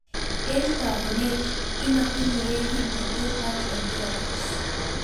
entogunet, imokyinigei kimnotet ak endurance